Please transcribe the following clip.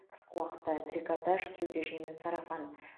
қысқы уақытта трикотаж кеудеше мен сарафан